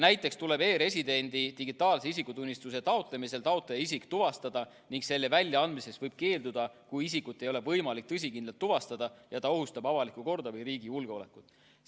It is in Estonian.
Näiteks tuleb e-residendi digitaalse isikutunnistuse taotlemisel taotleja isik tuvastada ning selle väljaandmisest võib keelduda, kui isikut ei ole võimalik tõsikindlalt tuvastada ja ta ohustab avalikku korda või riigi julgeolekut.